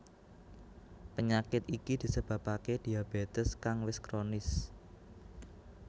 Penyakit iki disebabaké diabetes kang wis kronis